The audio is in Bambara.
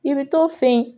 I bɛ t'o fɛ yen